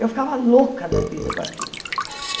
Eu ficava louca da vida com aquilo.